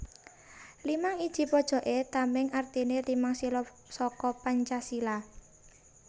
Limang iji pojoké tamèng artiné limang sila saka Pancasila